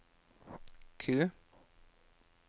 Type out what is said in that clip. Q